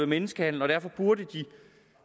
menneskehandel og derfor burde de